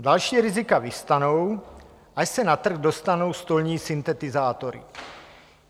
Další rizika vyvstanou, až se na trh dostanou stolní syntetizátory.